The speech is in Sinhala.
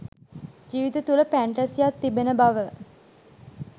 ජීවිතය තුළ ෆැන්ටසියක් තිබෙන බව